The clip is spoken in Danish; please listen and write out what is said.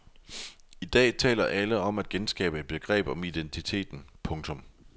I dag taler alle om at genskabe et begreb om identiteten. punktum